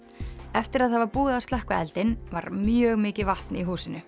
eftir að það var búið að slökkva eldinn var mjög mikið vatn í húsinu